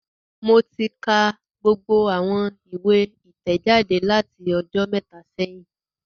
Mo ti ka gbogbo awọn iwe itẹjade lati ọjọ mẹta sẹhin